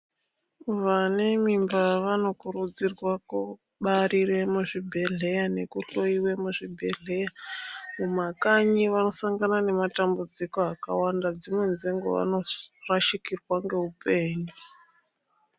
Vane mimba vanokurudzirwa kubarire muzvibhedhleya, nekuhloyiwa muzvibhedhleya, mumakanyi vanosangana nematambudziko akawanda ,dzimweni dzenguwa vanorashikirwa ngeupenyu.